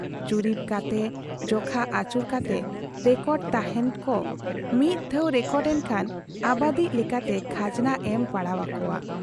ᱡᱩᱨᱤᱵᱽ ᱠᱟᱛᱮ ᱡᱚᱠᱷᱟ ᱟᱹᱪᱩᱨ ᱠᱟᱛᱮ ᱨᱮᱠᱚᱰᱮᱫ ᱛᱟᱦᱮᱸᱫ ᱠᱚ ᱨ ᱢᱤᱫ ᱫᱷᱟᱶ ᱨᱮᱠᱚᱨᱰ ᱮᱱᱠᱷᱟᱱ ᱟᱵᱟᱫᱤᱡ ᱞᱮᱠᱟᱛᱮ ᱠᱷᱟᱡᱽᱱᱟ ᱮᱢ ᱯᱟᱲᱟᱣ ᱟᱠᱚᱣᱟ ᱾